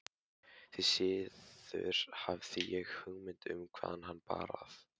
Því síður hafði ég hugmynd um hvaðan hana bar að.